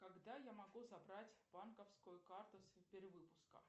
когда я могу забрать банковскую карту с перевыпуска